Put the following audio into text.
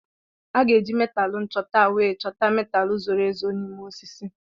A ga-eji metaalu nchọta wee chọta metaalu zoro ezo n'ime osisi.